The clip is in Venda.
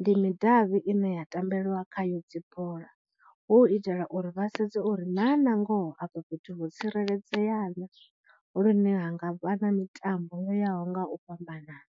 ndi midavhi ine ya tambeliwa kha yo dzibola, hu u itela uri vha sedze uri na nangoho afho fhethu ho tsireledzeana lune ha nga vha na mitambo yoyaho nga u fhambanana.